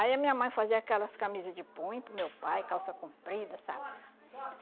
Aí a minha mãe fazia aquelas camisa de punho para o meu pai, calça comprida, sabe?